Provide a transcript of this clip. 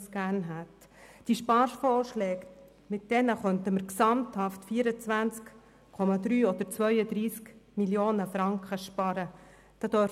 Mit den Sparvorschlägen könnten insgesamt 24,3 oder 32 Mio. Franken gespart werden.